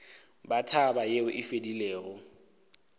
ba taba yeo e fedilego